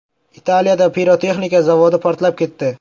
Italiyada pirotexnika zavodi portlab ketdi.